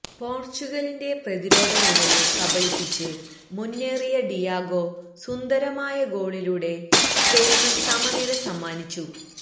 പോര്ച്ചുഗലിന്റെ പ്രതിരോധനിരയെ കബളിപ്പിച്ച് മുന്നേറിയ ഡിയാഗോ സുന്ദരമായ ഗോളിലൂടെ സ്പെയിന് സമനില സമ്മാനിച്ചു